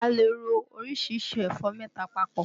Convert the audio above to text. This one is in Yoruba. A lè ro orísìírísìí ẹ̀fọ́ mẹ́ta papọ̀